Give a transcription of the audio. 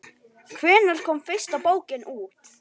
Hvenær kom fyrsta bókin út?